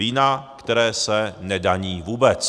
Vína, které se nedaní vůbec.